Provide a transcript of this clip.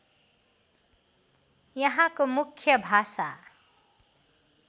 यहाँको मुख्य भाषा